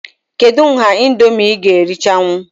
Kedụ nha Indomie ị ga erichanwu?